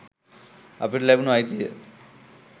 අපිට ලැබුණු අයිතිය